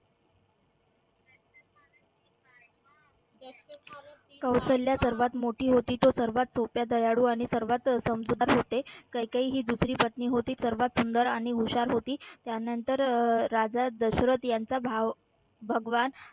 सर्वात मोठी होती तो सर्वात दयाळू आणि सर्वात समजूतदार होते कैकेयी ही दुसरी पत्नी होती सर्वात सुंदर आणि हुशार होती त्यानंतर राजा दशरथ यांचा भाव भगवान